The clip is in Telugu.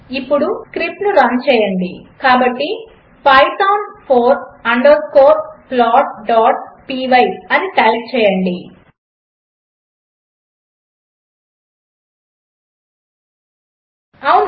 ఇప్పుడు స్క్రిప్ట్ రన్ చేయండి కాబట్టి పైథాన్ ఫౌర్ అండర్స్కోర్ plotపై అని టైప్ చేయండి అవును